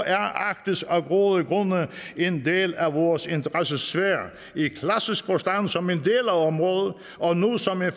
er arktis af gode grunde en del af vores interessesfære i klassisk forstand som en del af området og nu som en